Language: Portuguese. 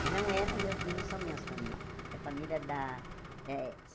E não é no meus não são minhas famílias. É família da eh